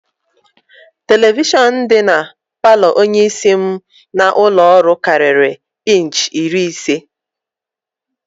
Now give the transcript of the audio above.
Televishọn dị na palọ onyeisi m n'ụlọọrụ karịrị inchi iri ise